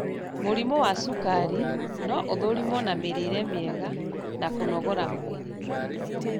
Mũrimũ wa cukari no ũthũrimwo na mĩrĩre mĩega na kũnogora mwĩrĩ